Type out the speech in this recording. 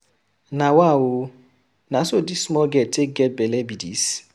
Nawa oo! na so dis small girl take get bele be dis.